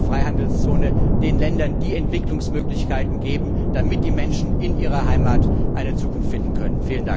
über eine Freihandelszone den Ländern die Entwicklungsmöglichkeiten geben, damit die Menschen in ihrer Heimat eine Zukunft finden können.